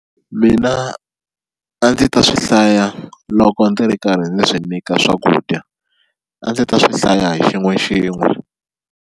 Mina a ndzi ta swi hlaya loko ndzi ri karhi ndzi swi nyika swakudya a ndzi ta swi hlaya hi xin'we xin'we.